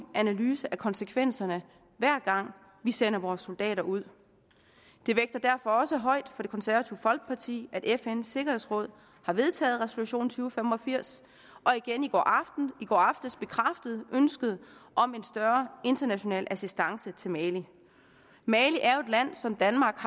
analyse af konsekvenserne hver gang vi sender vores soldater ud det vægter derfor også højt for det konservative folkeparti at fns sikkerhedsråd har vedtaget resolution to fem og firs og igen i går aftes bekræftede ønsket om en større international assistance til mali mali er jo et land som danmark